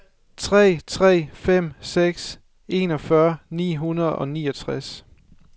tre tre fem seks enogfyrre ni hundrede og niogtres